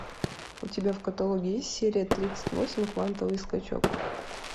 у тебя в каталоге есть серия тридцать восемь квантовый скачок